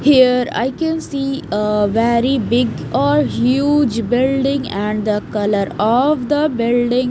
Here I can see a very big or huge building and the color of the building --